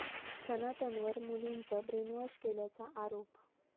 सनातनवर मुलीचं ब्रेनवॉश केल्याचा आरोप